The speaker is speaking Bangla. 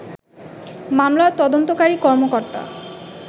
মামলার তদন্তকারী কর্মকর্তা